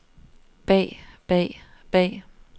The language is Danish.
bag bag bag